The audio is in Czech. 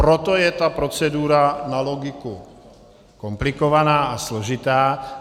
Proto je ta procedura na logiku komplikovaná a složitá.